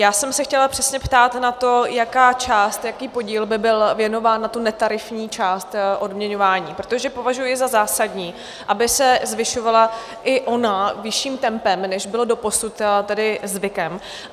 Já jsem se chtěla přesně ptát na to, jaká část, jaký podíl by byl věnován na tu netarifní část odměňování, protože považuji za zásadní, aby se zvyšovala i ona vyšším tempem, než bylo doposud tedy zvykem.